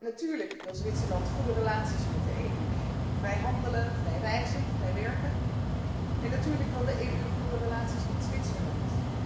Natuurlijk wil Zwitserland goede relaties met de EU vrij handelen, vrij reizen, vrij werken, en natuurlijk wil de EU goede relaties met Zwitserland.